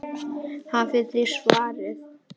Hafið þið svarið?